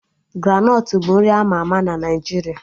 Granọt bụ nri ama ama na Naijiria